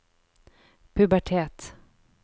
pubertet